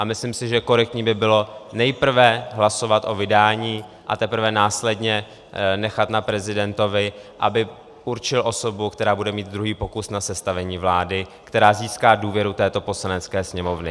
A myslím si, že korektní by bylo nejprve hlasovat o vydání, a teprve následně nechat na prezidentovi, aby určil osobu, která bude mít druhý pokus na sestavení vlády, která získá důvěru této Poslanecké sněmovny.